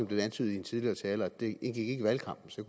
blev antydet af en tidligere taler at det ikke indgik i valgkampen så